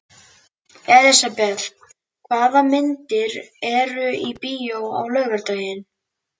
Elisabeth, hvaða myndir eru í bíó á laugardaginn?